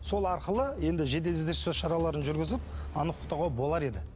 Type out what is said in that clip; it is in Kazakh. сол арқылы енді жедел іздестіру шараларын жүргізіп анықтауға болар еді